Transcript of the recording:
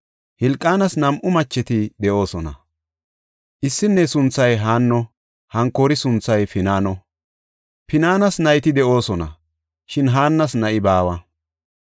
Hilqaanas nam7u macheti de7oosona; issinne sunthay Haanno; hankoori sunthay Pinaano. Pinaanis nayti de7oosona, shin Haannas na7i baawa.